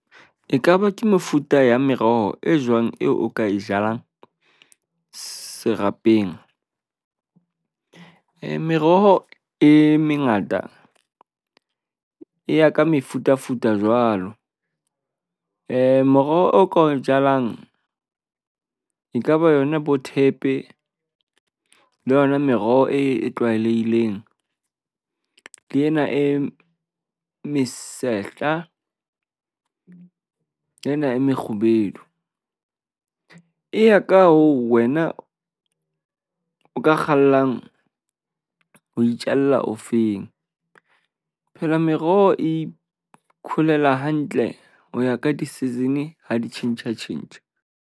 Ekaba ke mefuta ya meroho e jwang eo o ka e jalang serapeng? Meroho e mengata, e ya ka mefutafuta jwalo. moroho o ka o jalang ekaba yona bothepe, le yona meroho e tlwaelehileng le ena e mesehla, le ena e mekgubedu. E ya ka hore wena o ka kgallang ho itjalla ofeng. Phela meroho e ikholela hantle ho ya ka di-season ha di tjhentjha tjhentjha.